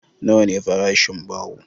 Nawa ne farashin baho?